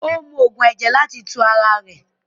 O mú oogun ẹ̀jẹ̀ láti tù ara rè.